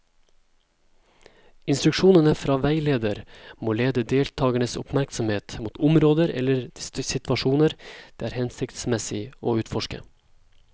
Instruksjonene fra veileder må lede deltakernes oppmerksomhet mot områder eller situasjoner det er hensiktsmessig å utforske.